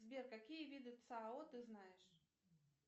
сбер какие виды цао ты знаешь